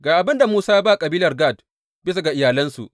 Ga abin da Musa ya ba kabilar Gad, bisa ga iyalansu.